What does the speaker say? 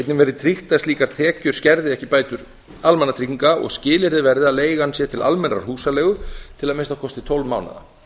einnig verði tryggt að slíkar tekjur skerði ekki bætur almannatrygginga og skilyrði verði að leigan sé til almennrar húsaleigu til að minnsta kosti tólf mánaða